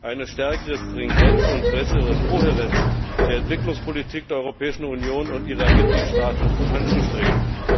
eine stärkere Stringenz und bessere Kohärenz der Entwicklungspolitik der Europäischen Union und ihrer Mitgliedstaaten anzustreben.